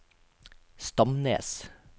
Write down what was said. Stamnes